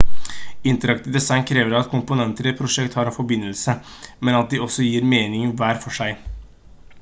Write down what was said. interaktivt design krever at komponenter i et prosjekt har en forbindelse men at de også gir mening hver for seg